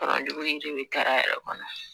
kɔlɔnjugu yiri bɛ kari a yɛrɛ kɔnɔ